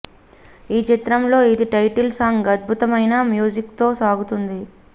ఈ చిత్రంలో ఇది టైటిల్ సాంగ్ అధ్బుతమైన మ్యూజిక్ తో సాగుతుంది